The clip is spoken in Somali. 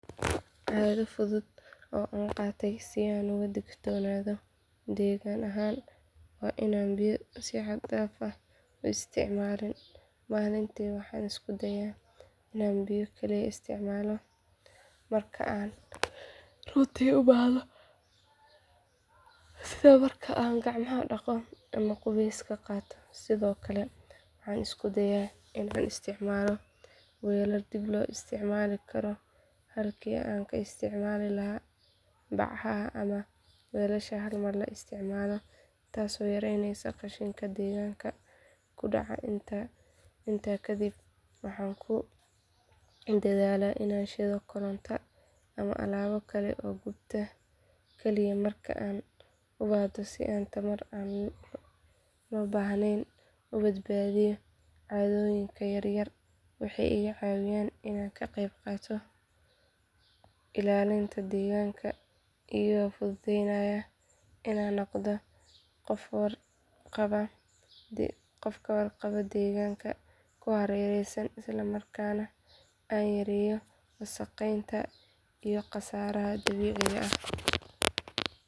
Caado fudud oo aan qaatey si aan uga digtoonaado deegaan ahaan waa inaan biyo si xad dhaaf ah u isticmaalin maalintii waxaan isku dayaa inaan biyo kaliya isticmaalo marka aan runtii u baahdo sida marka aan gacmaha dhaqo ama qubeyska qaato sidoo kale waxaan isku dayaa inaan isticmaalo weelal dib loo isticmaali karo halkii aan ka isticmaali lahaa bacaha ama weelasha hal mar la isticmaalo taasoo yaraynaysa qashinka deegaanka ku dhaca intaa kadib waxaan ku dadaalaa inaan shiddo koronto ama alaabo kale oo gubta kaliya marka aan u baahdo si aan tamar aan loo baahnayn u badbaadiyo caadooyinkaan yar-yar waxay iga caawiyaan inaan ka qayb qaato ilaalinta deegaanka iyagoo fududeynaya inaan noqdo qof ka warqaba deegaanka ku hareeraysan isla markaana aan yareeyo wasakheynta iyo khasaaraha dabiiciga ah.